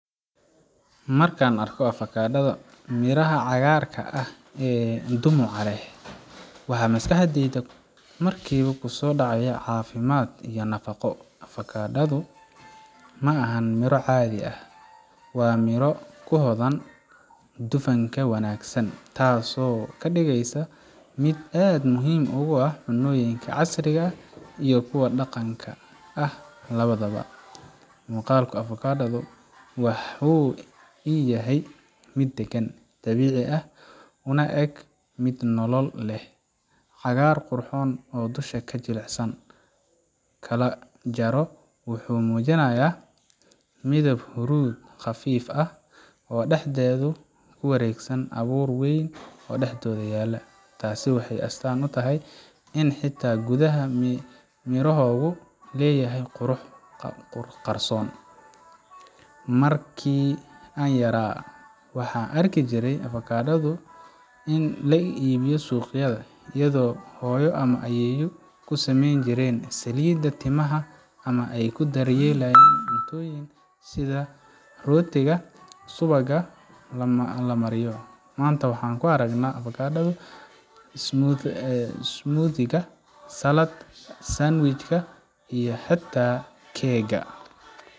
Markaan arko avocado du miraha cagaarka ah ee dhumucda leh waxa maskaxdayda markiiba kusoo dhacaya caafimaad iyo nafaqo. avocado du ma aha miro caadi ah; waa miro hodan ku ah dufanka wanaagsan, taasoo ka dhigaysa mid aad muhiim ugu ah cunnooyinka casriga ah iyo kuwa dhaqanka ah labadaba. Muuqaalka avocado du wuxuu ii yahay mid deggan, dabiici ah, una eg mid nolol leh. Cagaar qurxoon oo dusha ka jilicsan, la kala jaro, wuxuu muujinayaa midab huruud khafiif ah oo dhexdhexaad ah, kuna wareegsan abuur weyn oo dhexdooda yaal. Taasi waxay astaan u tahay in xitaa gudaha mirogu leeyahay qurux qarsoon. Markii aan yaraa, waxaan arki jiray avocado du lagu iibiyo suuqyada, iyadoo hooyo ama ayeeyo ku sameyn jireen saliidda timaha ama ay ku daryeelayen cuntooyinka sida rootiga subagga la mariyo. Maanta, waxaan ku aragnaa avokado smooth-ga, saladka, sandwich yada iyo xataa cake ga.